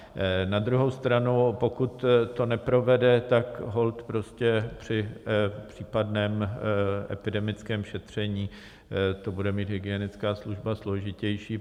Na druhou stranu pokud to neprovede, tak holt prostě při případném epidemickém šetření to bude mít hygienická služba složitější.